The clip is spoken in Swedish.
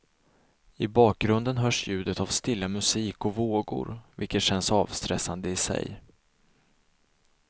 I bakgrunden hörs ljudet av stilla musik och vågor, vilket känns avstressande i sig.